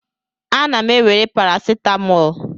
Ana m ewere paracetamol.